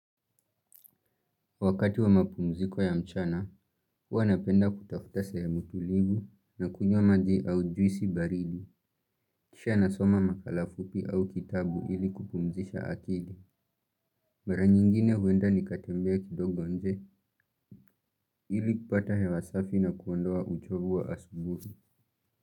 Wakati wa mapumziko ya mchana, huwa napenda kutafuta sehemu tulivu na kunywa maji au juisi baridi. Kisha nasoma makala fupi au kitabu ili kupumzisha akili. Mara nyingine huenda nikatembea kidogo nje ili kupata hewa safi na kuondoa uchovu wa asubuhi.